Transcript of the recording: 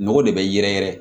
Nogo de bɛ yɛrɛ yɛrɛ